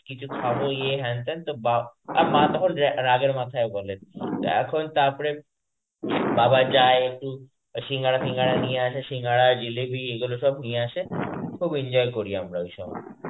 কিছু খাবো ইয়ে হ্যান ত্যান তো বা আর মা তখন রাগের মাথায়ও বলে এখন তারপরে বাবা যায় একটু সিঙ্গারা ফিন্ঘারা নিয়ে আসে, সিঙ্গারা জিলিপি এগুলো সব নিয়ে আসে খুব enjoy করি আমরা ঐসময়.